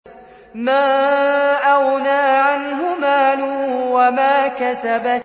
مَا أَغْنَىٰ عَنْهُ مَالُهُ وَمَا كَسَبَ